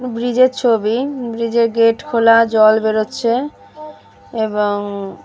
ব্রিজে র ছবি। ব্রিজে -র গেট খোলা জল বেরোচ্ছে এবং।